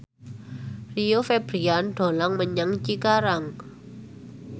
Rio Febrian dolan menyang Cikarang